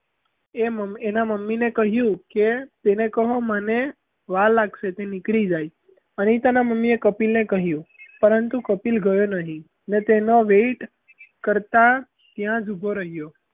એનાં મમ્મીને કહ્યું કે, તેને કહો મને વાર લાગશે તે નીકળી જાય અનિતાનાં મમ્મીએ કપિલ ને કહ્યું પરંતુ કપિલ ગયો નહીં ને તેનો wait કરતાં ત્યાં જ ઊભો રહ્યો.